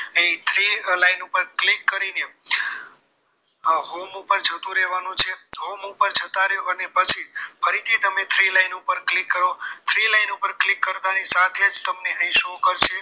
અહીં three line ઉપર click કરીને આ home ઉપર જતું રહેવાનું છે home ઉપર જતા રહો અને પછી ફરી થી તમે three line ઉપર click કરો three line ઉપર કરતા ની સાથે તમને અહીં show કરશે